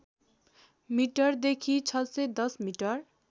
मिटरदेखि ६१० मिटर